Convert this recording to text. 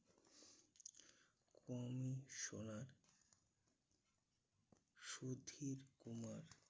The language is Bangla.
commissioner সুধীর কুমার